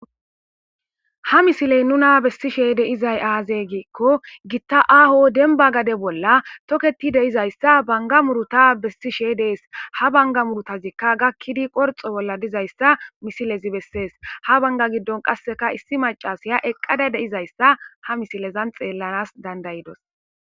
Ha misiley nuna bessishe deizay aazey giikko gitta aaho denba gade bolla toketi deizayssa banga muruta bessishe dees ha banga murutazikka gakkidi qorxo bolla dizayssa misilezi bessees ha banga giddon qasseka issi macasiya eqqada deizayssa ha misilezan xeellanas dandayidos.